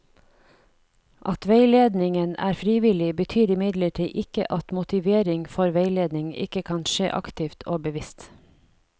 At veiledningen er frivillig, betyr imidlertid ikke at motivering for veiledning ikke kan skje aktivt og bevisst.